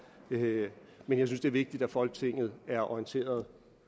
men jeg synes det er vigtigt at folketinget er orienteret